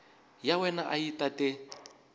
ya wena a yi tate